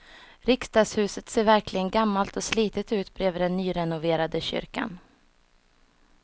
Riksdagshuset ser verkligen gammalt och slitet ut bredvid den nyrenoverade kyrkan.